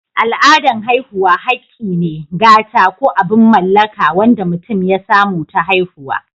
Al'adan haihuwa hakki ne, gata, ko abin mallaka wanda mutum ya samu ta haihuwa.